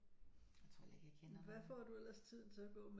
Jeg tror heller ikke jeg kender nogen